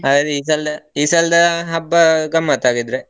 ಹಾಗಾದ್ರೆ ಈ ಸಲ ಈ ಸಲದ ಹಬ್ಬ ಗಮ್ಮತ್ ಹಾಗಿದ್ರೆ.